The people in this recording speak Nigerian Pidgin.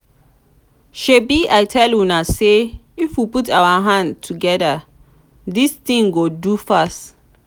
shebi i tell i tell una say if we put our hand together dis thing go do fast